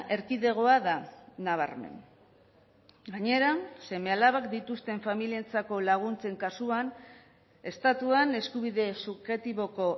erkidegoa da nabarmen gainera seme alabak dituzten familientzako laguntzen kasuan estatuan eskubide subjektiboko